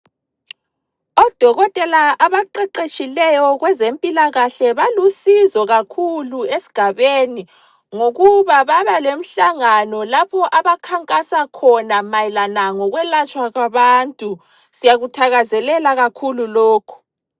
Odokotela abaqeqetshileyo kwezempilakahle balusizo kakhulu esgabeni ngokuba babalemhlangano lapho abakhankasa khona mayelana lokwelatshwa kwabantu, siyakuthakazelela kakhulu lokhu.